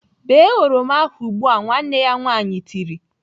Bee oroma ahụ ugbu! "Nwanne ya nwaanyị tiri.